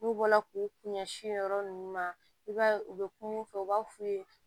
N'u bɔla k'u kun ɲɛsin yɔrɔ ninnu ma i b'a ye u bɛ kuma u fɛ u b'a f'u ye